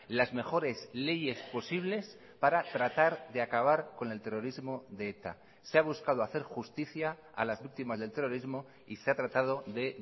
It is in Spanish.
las mejores leyes posibles para tratar de acabar con el terrorismo de eta se ha buscado hacer justicia a las víctimas del terrorismo y se ha tratado de